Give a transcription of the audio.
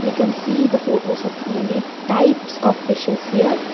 we can see the photos of many types of fishes here